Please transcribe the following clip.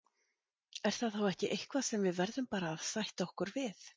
Er það þá ekki eitthvað sem við verðum bara að sætta okkur við?